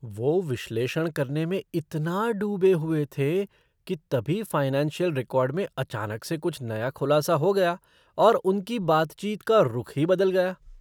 वो विश्लेषण करने में इतना डूबे हुए थे कि तभी फ़ाइनेंशियल रिकॉर्ड में अचानक से कुछ नया खुलासा हो गया और उनकी बातचीत का रुख ही बदल गया।